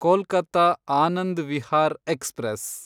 Kolkata Anand Vihar express